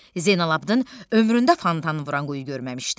Zeynalabidin ömründə fontan vuran quyu görməmişdi.